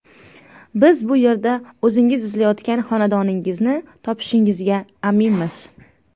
Biz bu yerda o‘zingiz izlayotgan xonadoningizni topishingizga aminmiz.